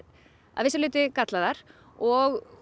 að vissu leyti gallaðar og